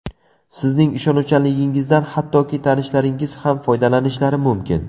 Sizning ishonuvchanligingizdan hattoki tanishlaringiz ham foydalanishlari mumkin.